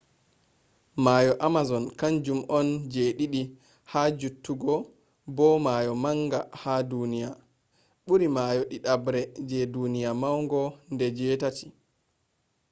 mayo amazon kanjum on ji ɗiɗi ha juttugo bo mayo manga ha duniya. ɓuri mayo ɗiɗabre je duniya maunugo nde 8